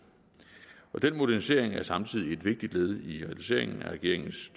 den modernisering er samtidig et vigtigt led i realiseringen af regeringens